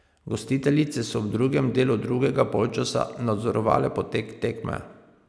Gostiteljice so v drugem delu drugega polčasa nadzorovale potek tekme.